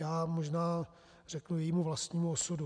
Já možná řeknu jejímu vlastnímu osudu.